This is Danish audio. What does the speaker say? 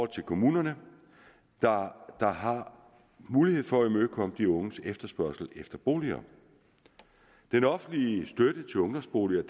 til kommunerne der har mulighed for at imødekomme de unges efterspørgsel efter boliger den offentlige støtte til ungdomsboliger